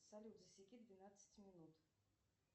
салют засеки двенадцать минут